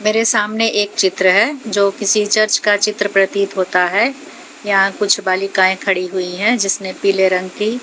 मेरे सामने एक चित्र है जो किसी चर्च का चित्र प्रतित होता है यहां कुछ बालिकाएं खड़ी हुई है जिसने पीले रंग की--